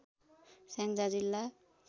स्याङ्जा जिल्ला